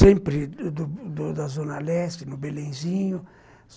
sempre do do da Zona Leste, no Belenzinho.